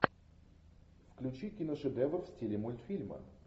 включи киношедевр в стиле мультфильма